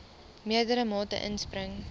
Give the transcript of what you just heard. meerdere mate inspring